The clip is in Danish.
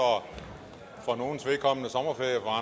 for nogles vedkommende sommerferie og